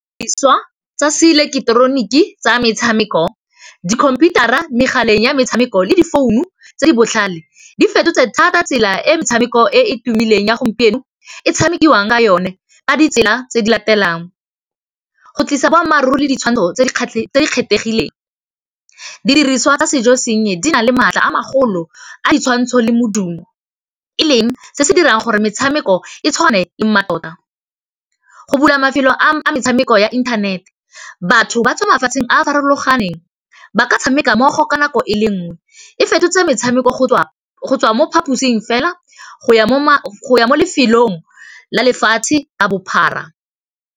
Didiriswa tsa se ileketeroniki tsa metshameko dikhomputara megaleng ya metshameko le di founu tse di botlhale di fetotse thata tsela e metshameko e e tumileng ya gompieno e tshamekiwang ka yone ka ditsela tse di latelang, go tlisa boammaaruri le ditshwantsho tse di kgethegileng, didiriswa tsa sejo senye di na le maatla a magolo a ditshwantsho le modumo e leng se se dirang gore metshameko e tshwane le mmatota, go bula mafelo a metshameko ya inthanete batho ba tswa mafatsheng a a farologaneng ba ka tshameka mmogo ka nako e le nngwe e fetotse metshameko go tswa mo phaposing fela go ya mo lefelong la lefatshe ka bophara.